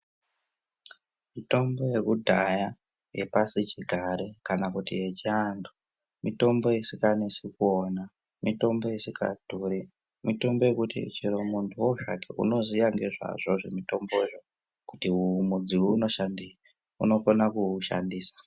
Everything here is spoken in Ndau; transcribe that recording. Mitombo yekudhaya yepasichigare kana kuti yechiantu mitombo isikanesi kuona, mitombo isikadhuri. Mitombo yekuti cherowo zvake muntu anoziye ngezvazvo zvemutombozvo, kuti uyu mudzi unoshandei, unokona kooushandisa.